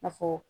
A fɔ